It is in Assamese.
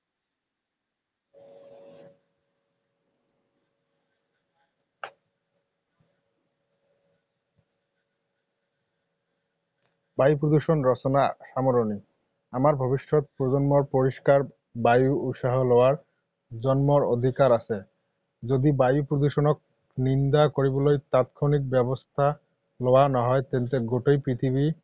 বায়ু প্ৰদূষণ ৰচনা সামৰণি। আমাৰ ভৱিষ্যত প্ৰজন্মৰ পৰিষ্কাৰ বায়ু উশাহ লোৱাৰ জন্মৰ অধিকাৰ আছে। যদি বায়ু প্ৰদূষণক নিন্দা কৰিবলৈ তাৎক্ষণিক ব্যৱস্থা লোৱা নহয় তেন্তে গোটেই পৃথিৱী